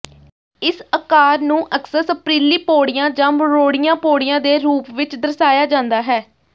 ਇਸ ਆਕਾਰ ਨੂੰ ਅਕਸਰ ਸਪਿਰਲੀ ਪੌੜੀਆਂ ਜਾਂ ਮਰੋੜੀਆਂ ਪੌੜੀਆਂ ਦੇ ਰੂਪ ਵਿੱਚ ਦਰਸਾਇਆ ਜਾਂਦਾ ਹੈ